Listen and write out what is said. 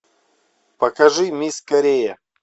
покажи мисс корея